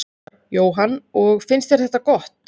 Jóhann: Og finnst þér þetta gott?